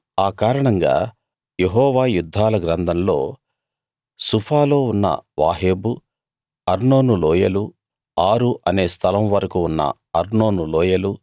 ఆ కారణంగా యెహోవా యుద్ధాల గ్రంథంలో సుఫాలో ఉన్న వాహేబు అర్నోను లోయలు ఆరు అనే స్థలం వరకూ ఉన్న అర్నోను లోయలు